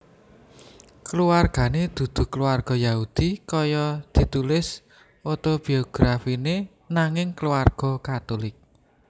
Kulawargané dudu kulawarga Yahudi kaya ditulis otobiografiné nanging kulawarga Katulik